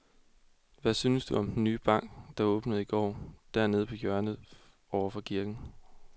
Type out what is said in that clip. Hvad synes du om den nye bank, der åbnede i går dernede på hjørnet over for kirken?